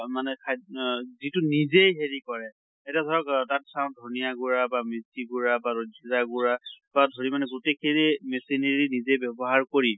মানে খাদ অহ যিটো নিজে হেৰি কৰে এতিয়া ধৰক তাত চাওঁ ধনিয়া গুড়া বা মেথি গুড়া বা জিৰা গুড়া পা ধৰি মানে গোটেই খিনি machinery নিজে মানে ব্য়ৱহাৰ কৰি